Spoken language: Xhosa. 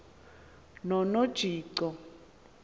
nonojico